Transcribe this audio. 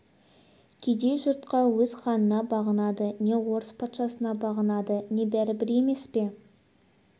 кедей жұртқа өз ханына бағынды не орыс патшасына бағынды не бәрібір емес пе